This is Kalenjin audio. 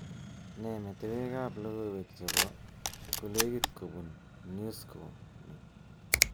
Nee metewekab logoiwek chebo kolekit kobun Newsource ni